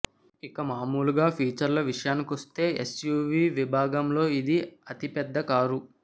ఇక మామూలుగా ఫీచర్ల విషయానికొస్తే ఎస్యూవీ విభాగంలో ఇది అతి పెద్ద కారు